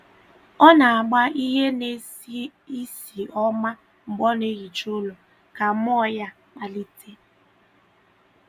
Ọ na - agba ihe na-esi isi ọma mgbe ọ na - ehicha ụlọ ka mmụọ ya kpalite.